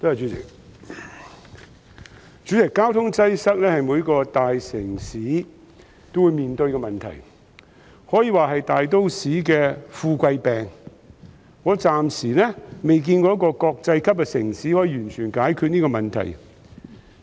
代理主席，交通擠塞是每個大城市也會面對的問題，可以說是大都市的富貴病，我暫時未見過有一個國際級城市可以完全解決這問題。